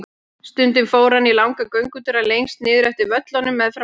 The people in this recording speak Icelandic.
Stundum fór hann í langa göngutúra lengst niður eftir völlunum meðfram ánni.